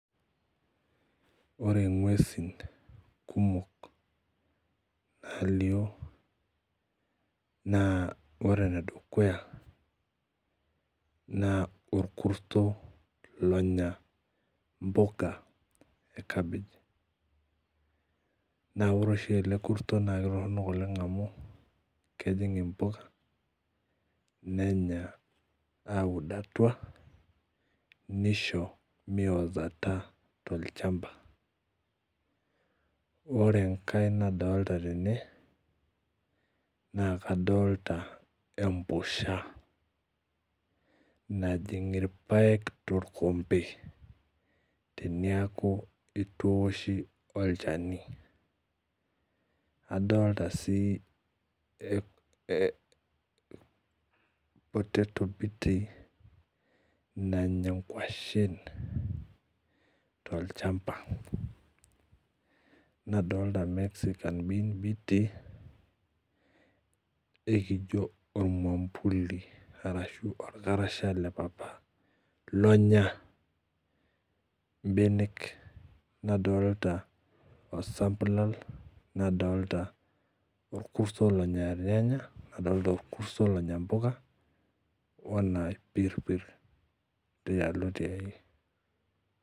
Ore ngwesin kumok nalio na ore enedukuya na orkurto lonya mpuka e kabej na ore elekurto na ketoronok amu nenya aud atua nisho miozata tolchamba ore enkae nadolta tene na kadolta empusha teneaku ituoshi olchani adolta si e oltetepiti nanya ngwashen tolchamba nadolta mexican bean beele ekijo ormombuli ashu orarasha lepapa onya mbenek nadolta osambulal nadolta orkurto lonya mpuka onapirpir tialo tene.